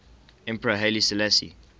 emperor haile selassie